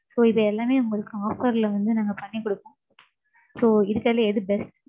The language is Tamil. So இது எல்லாமே உங்களுக்கு offer ல வந்து, நாங்க பண்ணி கொடுப்போம். So இருக்கறதுலயே எது best